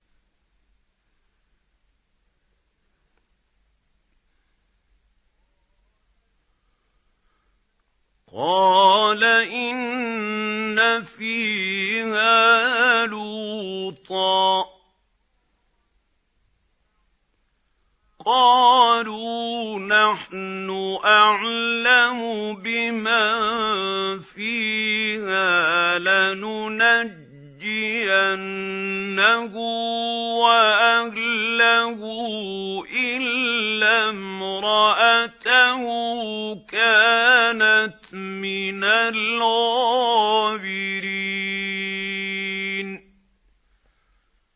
قَالَ إِنَّ فِيهَا لُوطًا ۚ قَالُوا نَحْنُ أَعْلَمُ بِمَن فِيهَا ۖ لَنُنَجِّيَنَّهُ وَأَهْلَهُ إِلَّا امْرَأَتَهُ كَانَتْ مِنَ الْغَابِرِينَ